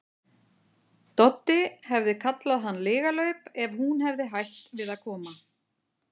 Doddi hefði kallað hann lygalaup ef hún hefði hætt við að koma.